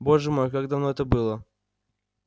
боже мой как давно это было